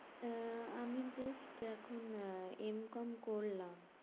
আহ আমি just এখন আহ করলাম এম কম করলাম